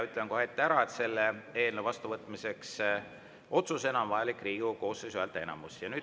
Ütlen kohe ette ära, et selle eelnõu otsusena vastuvõtmiseks on vajalik Riigikogu koosseisu häälteenamus.